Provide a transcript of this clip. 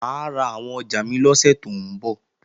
Mà á ra àwọn ọjà mi lọ́sẹ̀ tó ń bọ̀